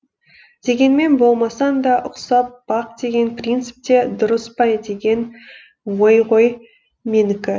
дегенмен болмасаң да ұқсап бақ деген принцип те дұрыс па деген ой ғой менікі